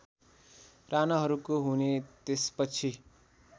राणाहरूको हुने त्यसपछि